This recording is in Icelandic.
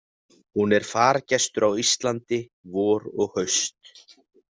Hún er fargestur á Íslandi vor og haust.